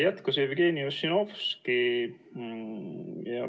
Jätkas Jevgeni Ossinovski.